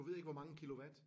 Du ved ikke hvor mange kilowatt?